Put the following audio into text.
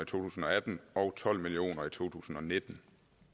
tusind og atten og tolv million kroner i to tusind og nitten